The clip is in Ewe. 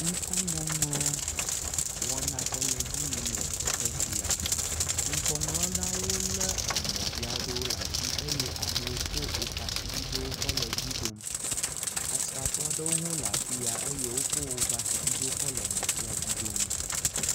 Ŋkɔŋɔŋlɔ wɔna aɖe le edzi yim le teƒe sia, ŋkɔ ŋlɔlawo lé emɔ vi aɖewo le asi eye amewo ko woƒe asibidewo kɔ le dzi ɖom. Asrafo aɖewo hã le afi ya eye wo hã wokɔ woƒe asibidewo kɔ le mɔ sia dzi ɖom.